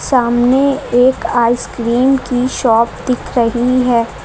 सामने एक आइसक्रीम की शॉप दिख रही है।